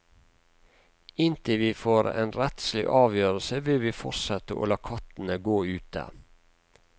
Inntil vi får en rettslig avgjørelse vil vi fortsette å la kattene gå ute.